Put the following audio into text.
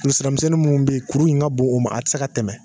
Ani siramisɛn munnu be yen, kuru nin ka bon o ma a ti se ka tɛmɛ